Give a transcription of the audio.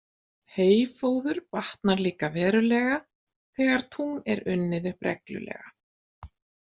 Heyfóður batnar líka verulega, þegar tún er unnið upp reglulega.